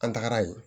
An tagara yen